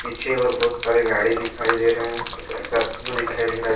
पीछे और बहुत सारे गाड़ी दिखाई दे रहे हैं एक स्कॉर्पियो दिखाई दे रहा जो--